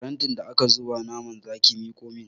Farantin da aka zuba naman zaki miƙo min!